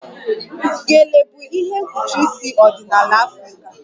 Gele bụ ihe mkpuchi isi ọdịnala Afrịka